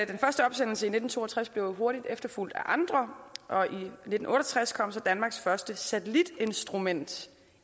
den første opsendelse i nitten to og tres blev hurtigt efterfulgt af andre og nitten otte og tres kom så danmarks første satellitinstrument